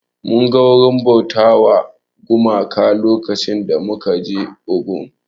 Mun ga wurin bauta wa gumaka lokacin da muka je Ogun